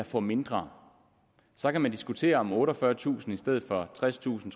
får mindre så kan man diskutere om otteogfyrretusind kroner i stedet for tredstusind